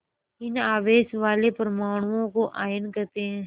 इन आवेश वाले परमाणुओं को आयन कहते हैं